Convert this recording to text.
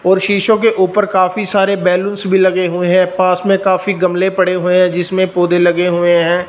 और शीशों के ऊपर काफी सारे बैलूंस भी लगे हुए हैं पास में काफी गमले पड़े हुए हैं जिसमें पौधे लगे हुए हैं।